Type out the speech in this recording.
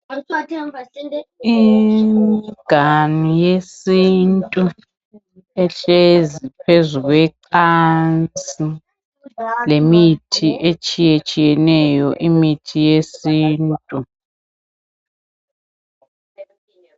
Imiganu yesintu ehlezi phezu kwecansi lemithi etshiyetshiyeneyo, imithi yesintu.